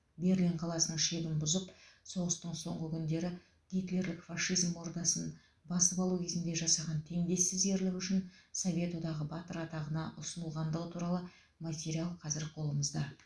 берлин қаласының шебін бұзып соғыстың соңғы күндері гитлерлік фашизм ордасын басып алу кезінде жасаған теңдессіз ерлігі үшін совет одағы батыры атағына ұсынылғандығы туралы материал қазір қолымызда